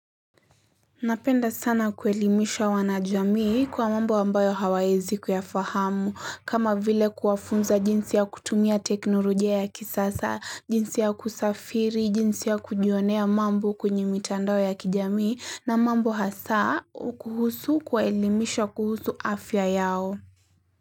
Napenda sana kuelimisha wanajamii kwa mambo ambayo hawaezi kuyafahamu kama vile kuwafunza jinsi ya kutumia teknolojia ya kisasa, jinsi ya kusafiri, jinsi ya kujionea mambo kwenye mitandao ya kijamii na mambo hasa kuhusu kuelimishwa kuhusu afya yao.